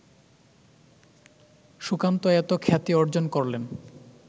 সুকান্ত এত খ্যাতি অর্জন করলেন